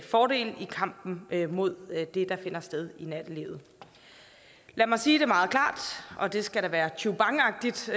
fordel i kampen mod det der finder sted i nattelivet lad mig sige det meget klart og det skal da være tjubangagtigt så